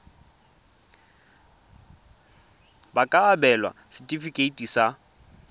ba ka abelwa setefikeiti sa